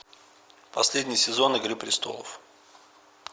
последний сезон игры престолов